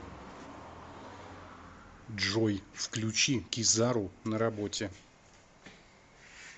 джой включи кизару на работе